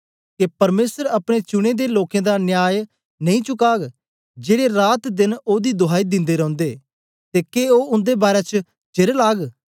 के परमेसर अपने चुने दे लोकें दा न्याय नेई चुकाग जेड़े रातदेन ओदी दुहाई दिन्दे रौंदे ते के ओ उन्दे बारै च चेर लाग